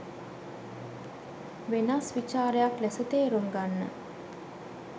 වෙනස් විචාරයක් ලෙස තේරුම් ගන්න.